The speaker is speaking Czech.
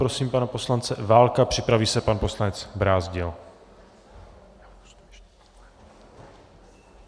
Prosím pana poslance Válka, připraví se pan poslanec Brázdil.